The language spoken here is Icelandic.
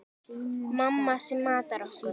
Mamma sem matar okkur.